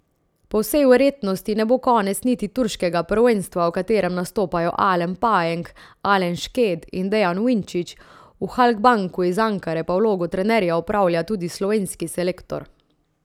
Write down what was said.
Po vsej verjetnosti ne bo konec niti turškega prvenstva, v katerem nastopajo Alen Pajenk, Alen Šket in Dejan Vinčić, v Halkbanku iz Ankare pa vlogo trenerja opravlja tudi slovenski selektor.